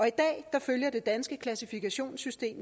i dag følger det danske klassifikationssystem